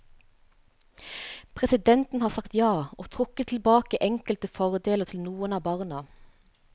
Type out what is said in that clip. Presidenten har sagt ja og trukket tilbake enkelte fordeler til noen av barna.